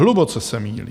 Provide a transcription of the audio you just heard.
Hluboce se mýlí!